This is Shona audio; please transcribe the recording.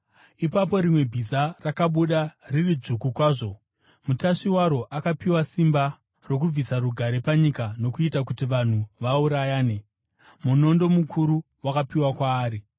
Ipapo rimwe bhiza rakabuda, riri dzvuku kwazvo. Mutasvi waro akapiwa simba rokubvisa rugare panyika nokuita kuti vanhu vaurayane. Munondo mukuru wakapiwa kwaari.